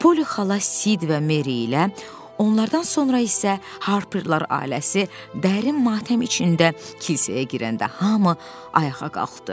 Polly xala Sid və Mary ilə, onlardan sonra isə Harperlər ailəsi dərin matəm içində kilsəyə girəndə hamı ayağa qalxdı.